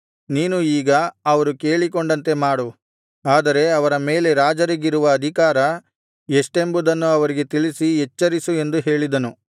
ನೀನು ಈಗ ಅವರು ಕೇಳಿಕೊಂಡಂತೆ ಮಾಡು ಆದರೆ ಅವರ ಮೇಲೆ ರಾಜರಿಗಿರುವ ಅಧಿಕಾರ ಎಷ್ಟೆಂಬುದನ್ನು ಅವರಿಗೆ ತಿಳಿಸಿ ಎಚ್ಚರಿಸು ಎಂದು ಹೇಳಿದನು